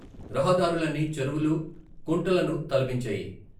రహదారులన్నీ చెరువులు, కుంటలను తలపించాయి.